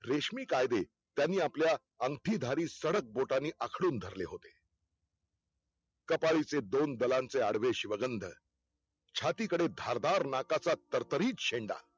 रेशमिकायदे त्यांनी आपल्या अंगठी धारी सडक बोटानी आखडून धरले होते कपाळीचे दोन दलांचे आडवेश शिवगंध, छाती कडे धारदार नाकाचा तरतरी शेंडा